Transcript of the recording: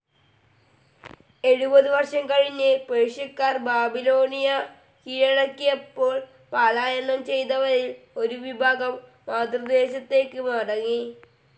എഴുപത് വർഷം കഴിഞ്ഞ് പേർഷ്യക്കാർ ബാബിലോണിയാ കീഴടക്കിയപ്പോൾ പാലായനം ചെയ്തവരിൽ ഒരു വിഭാഗം മാതൃദേശത്തേക്ക് മടങ്ങി.